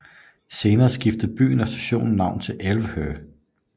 Senere skiftede byen og stationen navn til Älvho